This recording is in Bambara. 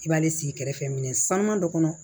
I b'ale sigi kɛrɛfɛ minɛ saaman dɔ kɔnɔ